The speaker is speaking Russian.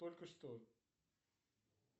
только что